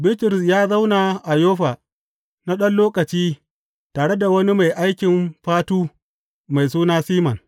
Bitrus ya zauna a Yoffa na ɗan lokaci tare da wani mai aikin fatu mai suna Siman.